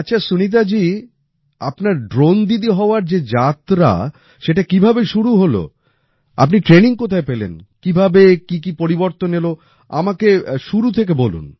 আচ্ছা সুনীতা জি আপনার ড্রোন দিদি হওয়ার যে যাত্রা সেটা কিভাবে শুরু হলো আপনি ট্রেনিং কোথায় পেলেন কীভাবে কী কী পরিবর্তন এলো আমাকে শুরু থেকে বলুন